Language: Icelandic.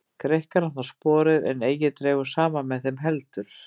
Greikkar hann þá sporið, en eigi dregur saman með þeim heldur.